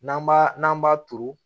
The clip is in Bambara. N'an b'a n'an b'a turu